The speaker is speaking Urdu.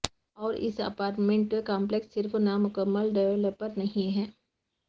اور اس اپارٹمنٹ کمپلیکس صرف نامکمل ڈویلپر نہیں ہے